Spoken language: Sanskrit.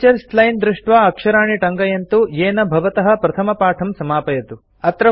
टीचर्स् लाइन् दृष्ट्वा अक्षराणि टङ्कयन्तु येन भवतः प्रथमपाठं समापयतु